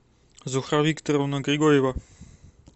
зухра викторовна григорьева